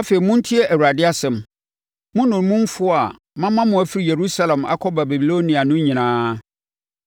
Afei montie Awurade asɛm, mo nnommumfoɔ a mama mo afiri Yerusalem akɔ Babilonia no nyinaa.